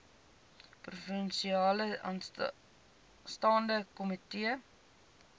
provinsiale staande komitee